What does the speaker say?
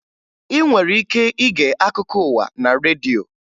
Ị nwere ike ige akụkọ ụwa na redio